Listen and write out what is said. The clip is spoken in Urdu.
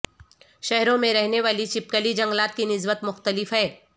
شہروں میں رہنے والی چھپکلی جنگلات کی نسبت مختلف ہے